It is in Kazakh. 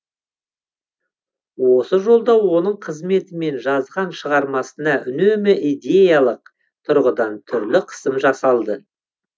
осы жолда оның қызметі мен жазған шығармасына үнемі идеялық тұрғыдан түрлі қысым жасалды